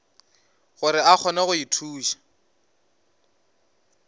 gore a kgone go ithuša